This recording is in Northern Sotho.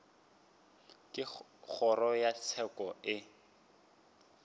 ge kgoro ya tsheko e